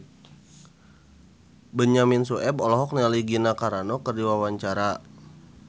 Benyamin Sueb olohok ningali Gina Carano keur diwawancara